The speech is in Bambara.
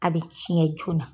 A bi cɛn joona